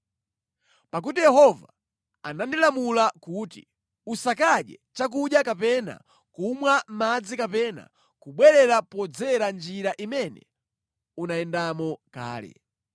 Pakuti Yehova anandilamula kuti, ‘Usakadye chakudya kapena kumwa madzi kapena kubwerera podzera njira imene unayendamo kale.’ ”